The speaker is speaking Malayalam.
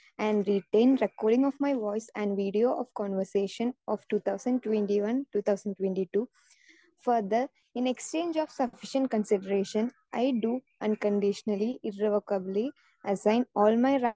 speaker 2 and written recording of my voice and video of conversation of two thousand twenty one two thousand twenty two for the in exchange of sufficient consideration I do unconditionally irrevocably assign all my